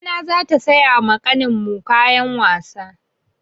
Mamana za ta saya ma ƙanin mu kayan wasa.